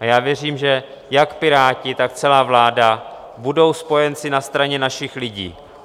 A já věřím, že jak Piráti, tak celá vláda budou spojenci na straně našich lidí.